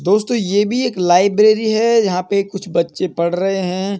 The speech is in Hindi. दोस्तों ये भी एक लाइब्रेरी है। यहां पे कुछ बच्चे पढ़ रहे हैं।